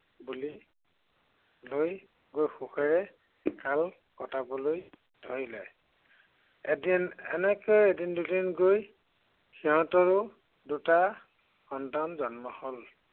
বুলি লৈ গৈ সুখেৰে কাল কটাবলৈ ধৰিলে। এদিন এনেকৈয়ে এদিন দুদিন গৈ সিহঁতৰো দুটা সন্তান জন্ম হ'ল।